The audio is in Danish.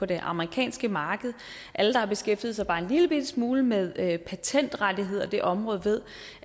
det amerikanske marked alle der har beskæftiget sig bare en lille smule med patentrettigheder og det område ved